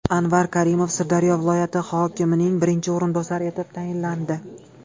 Anvar Karimov Sirdaryo viloyati hokimining birinchi o‘rinbosari etib tayinlandi.